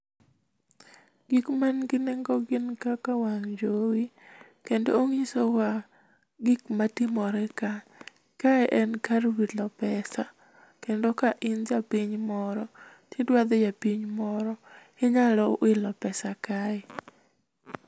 Gik mangi nengo gin kaka wang' jowi. Kendo ong'isowa gik matimore ka. Kae en kar wilo pesa, kendo ka in japiny moro tidwadhie piny moro, inyalo wilo pesa kae.